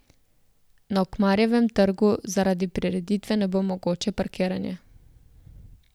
Na Ukmarjevem trgu zaradi prireditve ne bo mogoče parkiranje.